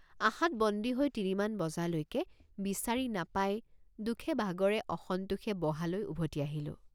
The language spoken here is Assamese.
আশাত বন্দী হৈ তিনিমান বজালৈকে বিচাৰি নাপাই দুখেভাগৰেঅসন্তোষে বহালৈ উভতি আহিলোঁ।